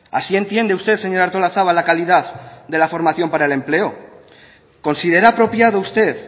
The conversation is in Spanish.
así entiende usted señora artolazabal la calidad de la formación para el empleo considera apropiado usted